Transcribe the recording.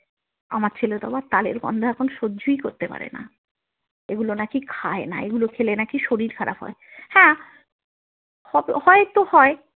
আমার ছেলে তো আবার তালের গন্ধ এখন সহ্যই করতে পারে না এগুলো নাকি খায় না এগুলো খেলে নাকি শরীর খারাপ হয় হ্যাঁ হয়তো হয়।